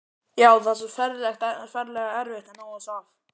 Já, það er svo ferlega erfitt að ná þessu af.